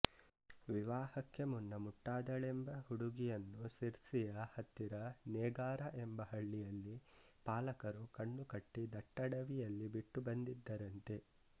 ವಿವಾಹಕ್ಕೆ ಮುನ್ನ ಮುಟ್ಟಾದಳೆಂಬ ಹುಡುಗಿಯನ್ನು ಸಿರ್ಸಿಯ ಹತ್ತಿರ ನೇಗಾರ ಎಂಬ ಹಳ್ಳಿಯಲ್ಲಿ ಪಾಲಕರು ಕಣ್ಣು ಕಟ್ಟಿ ದಟ್ಟಡವಿಯಲ್ಲಿ ಬಿಟ್ಟು ಬಂದಿದ್ದರಂತೆ